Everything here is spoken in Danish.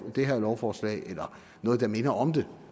det her forslag eller noget der minder om det